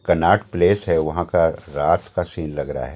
कन्नाट प्लेस है वहां का रात का सीन लग रहा है।